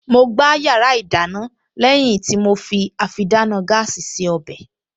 Mo gbá yàrá ìdáná lẹ́yìn tí mo fi àfidáná gáàsì se ọbẹ̀